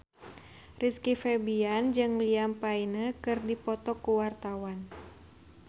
Rizky Febian jeung Liam Payne keur dipoto ku wartawan